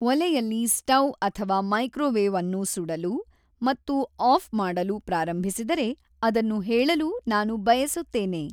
ಒಲೆಯಲ್ಲಿ ಸ್ಟೌವ್ ಅಥವಾ ಮೈಕ್ರೊವೇವ್ ಅನ್ನು ಸುಡಲು ಮತ್ತು ಆಫ್ ಮಾಡಲು ಪ್ರಾರಂಭಿಸಿದರೆ ಅದನ್ನು ಹೇಳಲು ನಾನು ಬಯಸುತ್ತೇನೆ